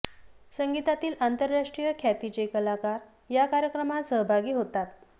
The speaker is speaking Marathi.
संगितातील आतंराष्ट्रीय ख्यातीचे कलाकार या कायक्रमात सहभागी होतात